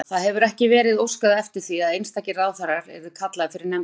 Þóra: Það hefur ekki verið óskað eftir því að einstakir ráðherrar yrðu kallaðir fyrir nefndina?